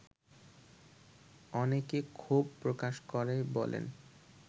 অনেকে ক্ষোভ প্রকাশ করে বলেন